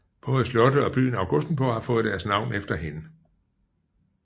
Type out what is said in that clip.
Både slottet og byen Augustenborg har fået deres navn efter hende